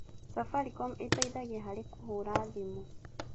Safaricom ĩteithagia harĩ kũhũra thimũ.